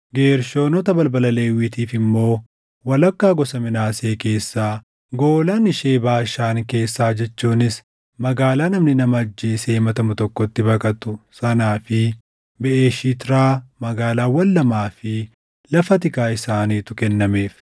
Geershoonota balbala Lewwiitiif immoo: Walakkaa gosa Minaasee keessaa, Goolaan ishee Baashaan keessaa jechuunis magaalaa namni nama ajjeesee himatamu tokko itti baqatu sanaa fi Beʼeshitiraa, magaalaawwan lamaa fi lafa tikaa isaaniitu kennameef;